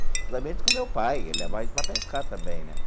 Principalmente com o meu pai, ele levava a gente para pescar também, né?